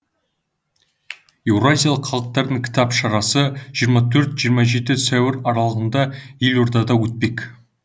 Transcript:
еуразиялық халықаралық кітап шарасы жиырма төрт жиырма жеті сәуір аралығында елордада өтпек